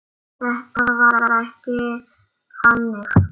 Þetta var ekki þannig.